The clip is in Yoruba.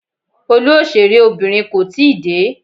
Olú òṣèré Obìnrin kò tíì dé.